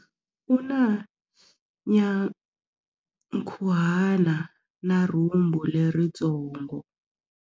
U na nyankhuhana na rhumbu leritsongo.